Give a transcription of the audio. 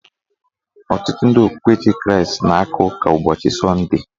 Ọtụtụ ndị okpukperechi Kraịst na-aka ụka ụbọchị sọnde.